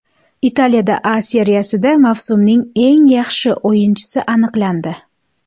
Italiya A Seriyasida mavsumning eng yaxshi o‘yinchisi aniqlandi.